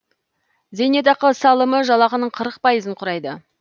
зейнетақы салымы жалақының қырық пайызын құрайды